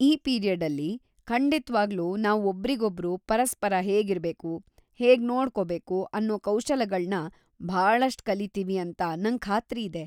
ಈ ಪೀರಿಯಡ್ಡಲ್ಲಿ ಖಂಡಿತ್ವಾಗ್ಲೂ ನಾವು ಒಬ್ರಿಗೊಬ್ರು ಪರಸ್ಪರ ಹೇಗಿರ್ಬೇಕು, ಹೇಗ್‌ ನಡ್ಕೋಬೇಕು ಅನ್ನೋ ಕೌಶಲಗಳ್ನ ಭಾಳಷ್ಟ್ ಕಲೀತೀವಿ ಅಂತ ನಂಗ್‌ ಖಾತ್ರಿ ಇದೆ.